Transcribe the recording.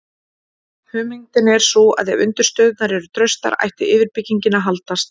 hugmyndin er sú að ef undirstöðurnar eru traustar ætti yfirbyggingin að haldast